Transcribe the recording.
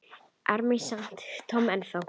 ar mig samt Tom ennþá.